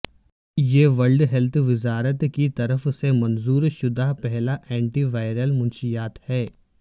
یہ world health وزارت کی طرف سے منظور شدہ پہلا اینٹی ویرل منشیات ہے